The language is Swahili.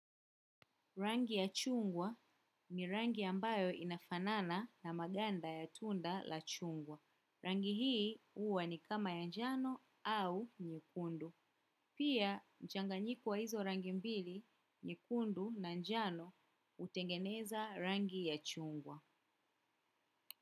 Rangi ya chungwa ni rangi ambayo inafanana na maganda ya tunda la chungwa. Rangi hii huwa ni kama ya jano au nyekundu. Pia, mchanganyiko wa hizo rangi mbili, nyekundu na njano utengeneza rangi ya chungwa.